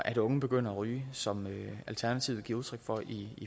at unge begynder at ryge som alternativet giver udtryk for i